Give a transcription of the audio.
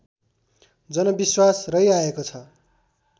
जनविश्वास रहिआएको छ